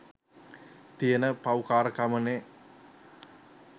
තියෙන පව්කාරකමනේ